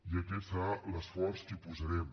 i aquest serà l’esforç que hi posarem